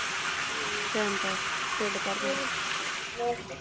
ਹਮ time pass, ਢਿੱਡ ਭਰ ਜਾਂਦਾ